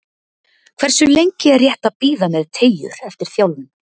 Hversu lengi er rétt að bíða með teygjur eftir þjálfun?